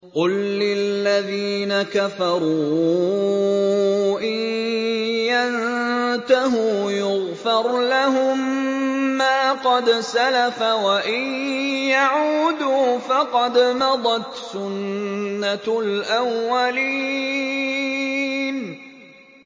قُل لِّلَّذِينَ كَفَرُوا إِن يَنتَهُوا يُغْفَرْ لَهُم مَّا قَدْ سَلَفَ وَإِن يَعُودُوا فَقَدْ مَضَتْ سُنَّتُ الْأَوَّلِينَ